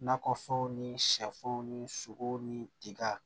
Nakɔfɛnw ni sɛfanw ni sogow ni tigaw